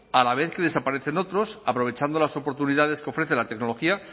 a la vez que desaparecen otros aprovechando las oportunidades que ofrecen la tecnología